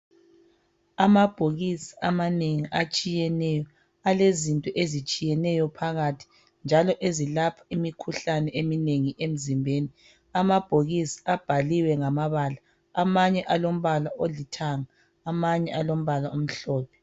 Amabhokisi amanengi atshiyeneyo alezinto ezitshiyeneyo phakathi njalo ezilapha imikhuhlane eminengi emzimbeni. Amabhokisi abhaliwe ngamabala. Amanye alombala olithanga amanye alombala omhlophe.